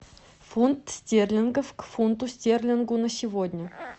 фунт стерлингов к фунту стерлингов на сегодня